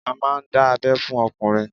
A máà ń dá abẹ́ fún ọkùnrin